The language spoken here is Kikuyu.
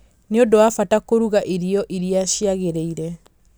nĩ ũndũ wa bata kũruga irio iria ciagĩrĩire